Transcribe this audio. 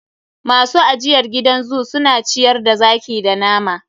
Masu ajiyr gidan zoo su na ciyar da zaki da nama.